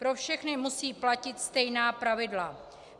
Pro všechny musí platit stejná pravidla.